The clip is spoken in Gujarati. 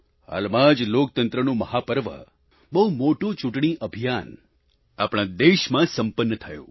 હાલમાં જ લોકતંત્રનું મહાપર્વ બહુ મોટું ચૂંટણી અભિયાન આપણા દેશમાં સંપન્ન થયું